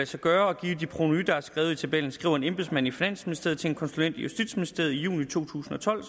sig gøre og give de provenuer der er skrevet i tabellen det skriver en embedsmand i finansministeriet til en konsulent i justitsministeriet i juni to tusind og tolv